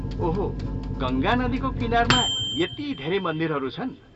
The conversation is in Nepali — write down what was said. ओहो, गङ्गा नदीको किनारमा यति धेरै मन्दिरहरू छन्।